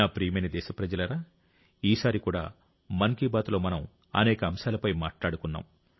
నా ప్రియమైన దేశప్రజలారా ఈసారి కూడా మన్ కీ బాత్లో మనం అనేక అంశాలపై మాట్లాడుకున్నాం